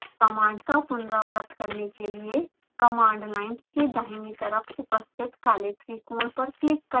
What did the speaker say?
command का पुनरावृत्त करने के लिए command line के दाहिनी तरफ उपस्थित काले त्रिकोण पर क्लिक करें